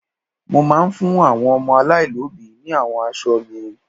Mo máa fún àwọn ọmọ aláìlóbìí ní àwọn aṣọ mi.